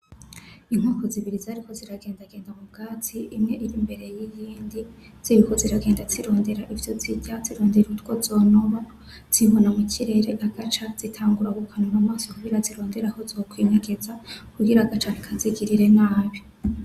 Inkoko zibiri zariko ziragendagenda mu bwatsi, imwe iri imbere y’iyindi ziriko ziragenda zirondera ivyo zirya, zirondera utwo zonoba zibona mu kirere, agaca zitangura gukanura amaso kugira zirondere aho zokwinyegeza kugira agaca ntikazigirire nabi.